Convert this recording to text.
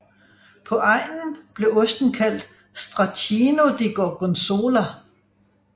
På egnen blev osten kaldt Stracchino di Gorgonzola